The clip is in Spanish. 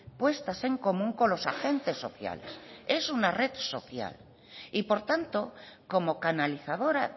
puestas en común con los agentes sociales es una red social y por tanto como canalizadora